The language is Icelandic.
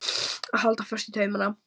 Að halda fast í taumana